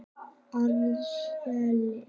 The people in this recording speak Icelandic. Árseli